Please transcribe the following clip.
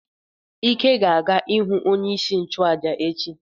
Ike ga-aga ihu onye isi nchụaja echi.